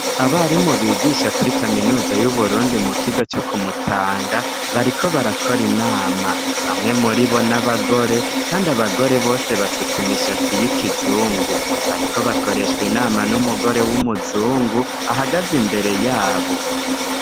Abarimu bigisha kuri kaminuza y'Uburundi mu kigo co ku Mutanga, bariko barakora inama, bamwe muri bo n'abagore kandi, abagore bose basutse imishatsi y'ikizungu, bariko bakoreshwa inama n'umugore w'umuzungu ahagaze imbere yabo.